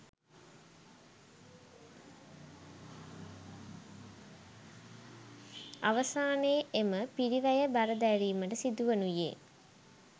අවසානයේ එම පිරිවැය බර දැරීමට සිදුවනුයේ